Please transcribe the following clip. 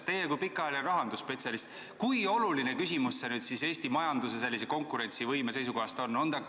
Te olete kauaaegne rahandusspetsialist, kui oluline küsimus see Eesti majanduse konkurentsivõime seisukohast teie arvates on?